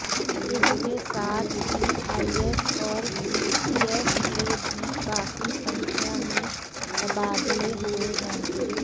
इसके साथ ही आईएस और पीसीएस के भी काफी संख्या में तबादले हुए हैं